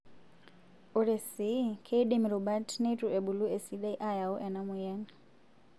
Ore sii, keidim rubat neitu ebulu esidai aayau ena moyian.